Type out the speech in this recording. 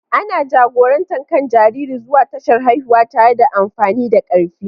Ana jagorantar kan jaririn zuwa tashar haihuwa tare da amfani da karfi.